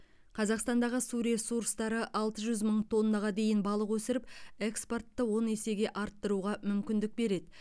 қазақстандағы су ресурстары алты жүз мың тоннаға дейін балық өсіріп экспортты он есеге арттыруға мүмкіндік береді